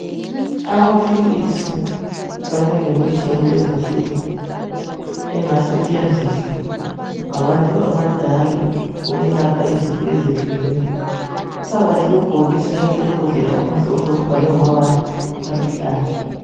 Amaphilisi kanye lemithi yakulezi insuku engasetshenziswa ngabantu abadala ukwelapha izifo ezehlukeneyo. Kuphakathi kwebhokisi kanye lembodlela okumhlophe okubhalwe ngamabala aluhlaza.